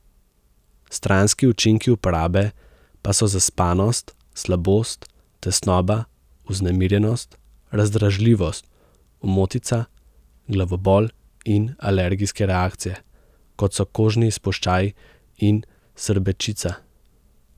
Stranski učinki uporabe pa so zaspanost, slabost, tesnoba, vznemirjenost, razdražljivost, omotica, glavobol in alergijske reakcije, kot so kožni izpuščaji in srbečica.